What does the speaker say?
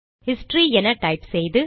history என type செய்து